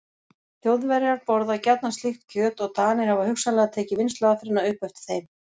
Þjóðverjar borða gjarnan slíkt kjöt og Danir hafa hugsanlega tekið vinnsluaðferðina upp eftir þeim.